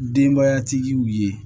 Denbayatigiw ye